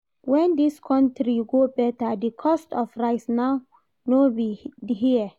When this country go better? the cost of rice now no be here